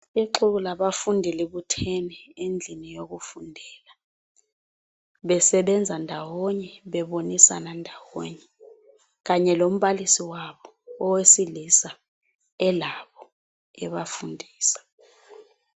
Ixuku labafundi libuthene endlini yokufundela, besebenza ndawonye bebonisana ndawonye. Kanye lombalisi wabo owesilisa elabo ebafundisa.